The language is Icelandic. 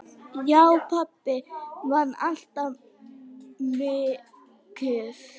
Já, pabbi vann alltaf mikið.